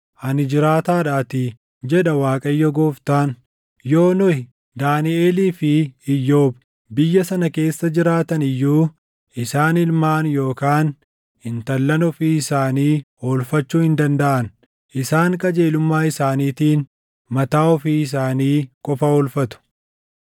ani jiraataadhaatii, jedha Waaqayyo Gooftaan; yoo Nohi, Daaniʼelii fi Iyyoob biyya sana keessa jiraatani iyyuu isaan ilmaan yookaan intallan ofii isaanii oolfachuu hin dandaʼan. Isaan qajeelummaa isaaniitiin mataa ofii isaanii qofa oolfatu.